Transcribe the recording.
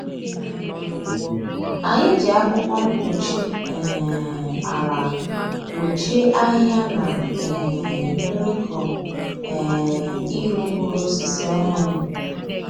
Anyị ji akwụkwọ mkpuchi um ala gbochie ahịhịa na um mmịkụ um iru mkpụrụ osisi ọhụrụ.